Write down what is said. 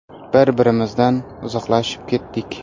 Bir-birimizdan uzoqlashib ketdik.